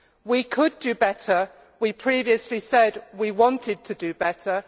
We could do better. We previously said we wanted to do better.